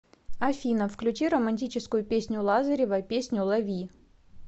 афина включи романтическую песню лазарева песню лови